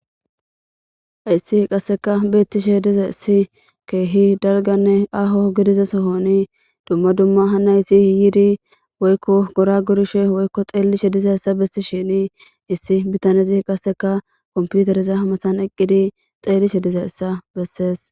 hayssi qassekka beettishe dizayssi keehi dalganne aaho gidiza sohoni dumma dumma hanayti yidi woykko gora gorishe woykko xeellishe diza yssa bessisheni issi bitanezi qasseka komputereza mathan eqqidi xeellishe dizayssa bessees.